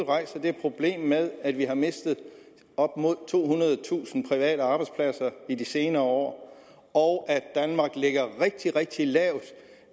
rejser det problem med at vi har mistet op mod tohundredetusind private arbejdspladser i de senere år og at danmark ligger rigtig rigtig lavt